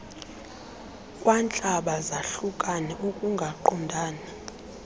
kwantlaba zahlukane ukungaqondani